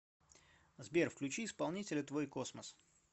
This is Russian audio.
сбер включи исполнителя твойкосмос